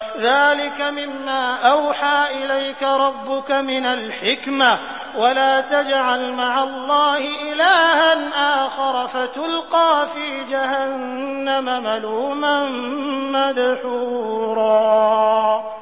ذَٰلِكَ مِمَّا أَوْحَىٰ إِلَيْكَ رَبُّكَ مِنَ الْحِكْمَةِ ۗ وَلَا تَجْعَلْ مَعَ اللَّهِ إِلَٰهًا آخَرَ فَتُلْقَىٰ فِي جَهَنَّمَ مَلُومًا مَّدْحُورًا